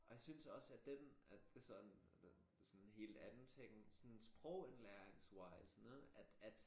Og jeg synes også at den at det sådan det så en helt andet ting sådan sprogindlæringswise at at